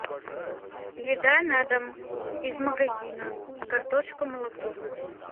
еда на дом из магазина картошка молоко